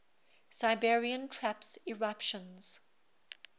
siberian traps eruptions